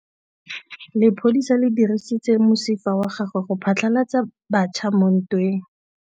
Lepodisa le dirisitse mosifa wa gagwe go phatlalatsa batšha mo ntweng.